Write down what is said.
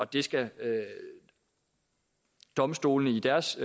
det skal domstolene i deres